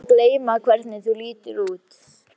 Ég er búin að gleyma hvernig þú lítur út.